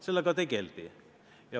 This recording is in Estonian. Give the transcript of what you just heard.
Sellega tegeldi.